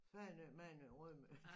Fanø Mandø Rømø